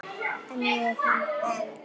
En ég hef hana enn.